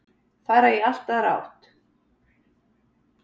Fara í allt aðra átt.